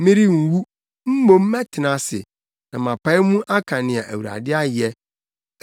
Merenwu, mmom mɛtena ase na mapae mu aka nea Awurade ayɛ.